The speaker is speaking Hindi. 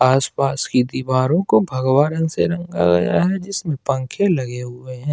आसपास की दीवारों को भगवा रंग से रंगा गया है जिसमें पंखे लगे हुए है।